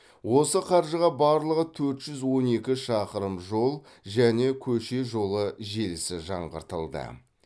осы қаржыға барлығы төрт жүз он екі шақырым жол және көше жолы желісі жаңғыртылды